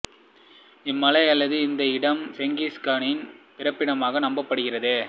இம்மலை அல்லது இதன் இடம் செங்கிஸ் கானின் பிறப்பிடமாக நம்பப்படுகிறது